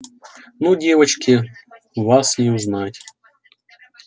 ну девочки вас не узнать